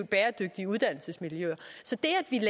bæredygtige uddannelsesmiljøer så det